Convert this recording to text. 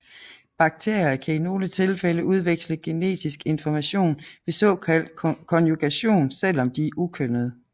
Bakterier kan i nogle tilfælde udveksle genetisk information ved såkaldt konjugation selvom de er ukønnede